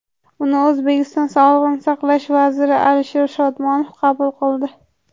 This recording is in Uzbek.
Uni O‘zbekiston sog‘liqni saqlash vaziri Alisher Shodmonov qabul qildi.